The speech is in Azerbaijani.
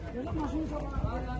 Yaxşıdır, maşın içində idi.